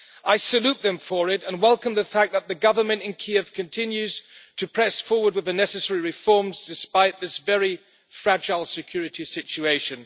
I salute them for it and welcome the fact that the government in Kiev continues to press forward with the necessary reforms, despite this very fragile security situation.